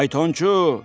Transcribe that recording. Faytonçu!